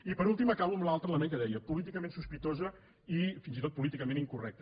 i per últim acabo amb l’altre element que deia polí·ticament sospitosa i fins i tot políticament incorrec·ta